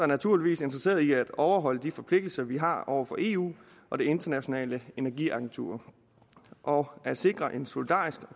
naturligvis interesseret i at overholde de forpligtelser vi har over for eu og det internationale energi agentur og at sikre en solidarisk